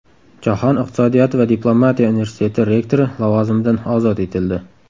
Jahon iqtisodiyoti va diplomatiya universiteti rektori lavozimidan ozod etildi.